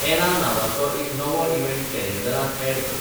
ऍना नावांचो एक नवो इवँट कॅलेंडरांत ऍड कर